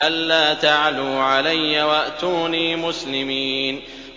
أَلَّا تَعْلُوا عَلَيَّ وَأْتُونِي مُسْلِمِينَ